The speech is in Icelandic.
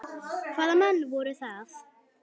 Hvaða menn voru það?